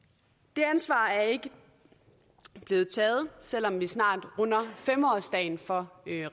det ansvar er ikke blevet taget selv om vi snart runder fem årsdagen for